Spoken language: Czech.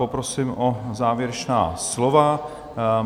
Poprosím o závěrečná slova.